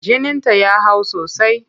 Jininta ya hau sosai.